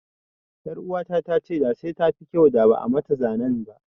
Ƴaruwata ta ce da sai tafi kyau da ba'a mata zanen ba.